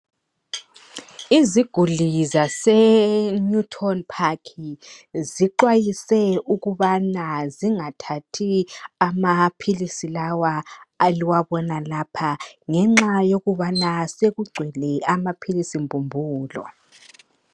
Iziguli zase Newton park zixwayise ukubana zingathathi amaphilisi lawa eliwabona lapha ngenxa yokubana sekugcwele amaphilisi mbumbulo.